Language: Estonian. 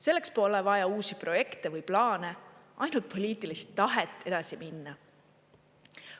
Selleks pole vaja uusi projekte või plaane, ainult poliitilist tahet edasi minna.